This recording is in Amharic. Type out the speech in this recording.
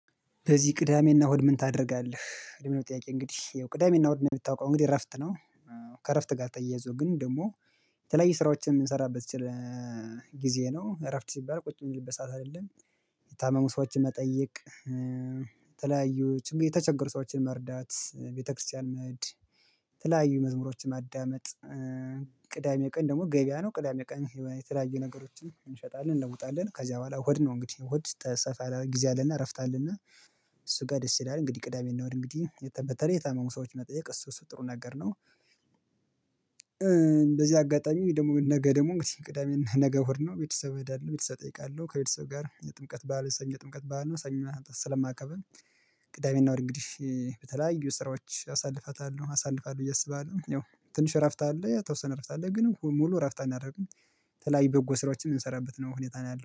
በዚህ ቅዳሜና እሁድ ምን ታደርጋለህ? ለሚለው ጥያቄ እንግዲህ ያው ቅዳሜና እሁድ እንደሚታወቀው እንግዲህ እረፍት ነው። ከእረፍት ጋር ተያይዞ ግን ደግሞ የተለያየ ስራዎችን የምንሰራበት ጊዜ ነው። እረፍት ሲባል ቁጭ ብሎ የሚልበት ሰዓት አይደለም። የታመሙ ሰዎችን መጠየቅ የተለያዩ የተቸገሩ ሰዎችን መርዳት ቤተክርስቲያን መሄድ ተለያዩ መዝሙሮችን ማዳመጥ። ቅዳሜ ቀን ደግሞ ገበያ ነው ቅዳሜ ቀን የተለያዩ ነገሮችን እንሸጣለን እንለውጣለን ከዚያ በኋላ እሁድ ነው። እንግዲህ እሁድ ሰፋ ጊዜ አለን እረፍት አለን። እሱ ጋር ደስ ይላል እንግዲህ ቅዳሜና እሁድ እንግዲህ በተለይ የታመሙ ሰዎች መጠየቅ እሱ እሱ ጥሩ ነገር ነው። በዚህ አጋጣሚ ደግሞ ነገ ደግሞ ቅዳሜና ነገ እሁድ ነው ቤተሰብ እሄዳለሁ ቤተሰብ እጠይቃለሁ ከቤተሰብ ጋር የጥምቀት በዓል ሰኞ ጥምቀት በዓል ነው ሰኞ ስለማከብር። ቅዳሜና እሁድ እንግዲህ በተለያዩ ስራዎች አሳልፋታለሁ አሳልፋለሁ ብየ አስባለሁ ይኸው ትንሽ እረፍት አለ የተወሰነ እረፍት አለ ግን ሙሉ እረፍት አናደርግም። ተላይ በጎ ስራዎችን የምንሰራበት ነው ሁኔታ ነው ያለው